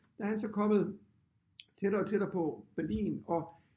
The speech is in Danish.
Der er han så kommet tættere og tættere på Berlin og